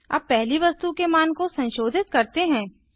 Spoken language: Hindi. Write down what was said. अब पहली वस्तु के मान को संशोधित करते हैं